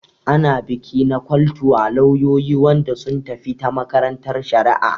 Ana biki na kwal to wa lauyoyi Wanda sun tafi ta makarantan shari'a.